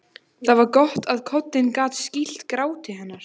Það var gott að koddinn gat skýlt gráti hennar.